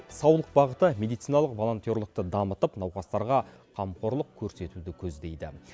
саулық бағыты медициналық волонтерлықты дамытып науқастарға қамқорлық көрсетуді көздейді